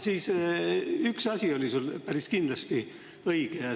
Siis üks asi oli sul päris kindlasti õige.